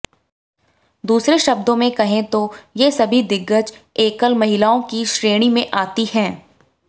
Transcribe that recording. दूसरे शब्दों में कहें तो ये सभी दिग्गज एकल महिलाओं की श्रेणी में आती हैं